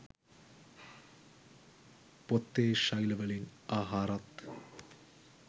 පොත්තේ ශෛලවලින් ආහාරත්